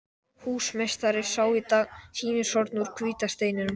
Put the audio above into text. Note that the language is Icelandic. Húsameistari sá í dag sýnishornin úr hvíta steininum.